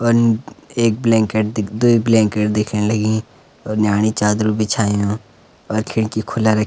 अन्न एक ब्लेंकेट दिख्द एक ब्लंकेट दिखेंण लगीं और न्याणी चादर बिछायुं और खिड़की खुला रख।